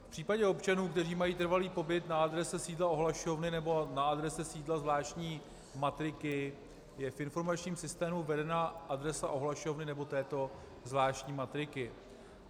V případě občanů, kteří mají trvalý pobyt na adrese sídla ohlašovny nebo na adrese sídla zvláštní matriky, je v informačním systému uvedena adresa ohlašovny nebo této zvláštní matriky.